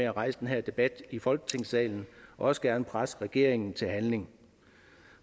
at rejse den her debat i folketingssalen og også gerne presse regeringen til handling